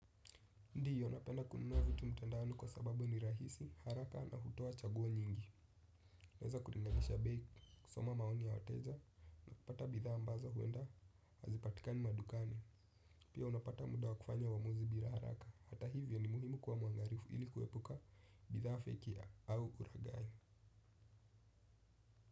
Ndio, napenda kununua vitu mtandaoni kwa sababu ni rahisi, haraka na hutoa chaguo nyingi naweza kulinganisha bei, kusoma maoni ya wateja kupata bidhaa ambazo huenda hazipatikani madukani pia, unapata muda wa kufanya uamuzi bila haraka. Hata hivyo, ni muhimu kuwa muangalifu ili kuepuka bithaa feki au uraghai.